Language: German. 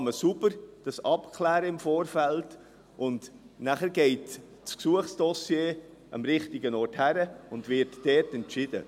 So kann man es im Vorfeld sauber abklären, und dann geht das Dossier an den richtigen Ort und wird dort entschieden.